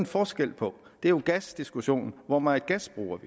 forskel på det er jo gasdiskussionen hvor meget gas bruger